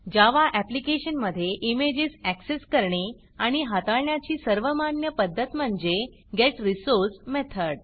जावा application मधे images access करणे आणि हाताळण्याची सर्वमान्य पध्दत म्हणजे getResource मेथड